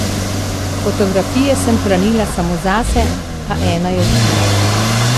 Fotografije sem hranila samo zase, a ena je ušla.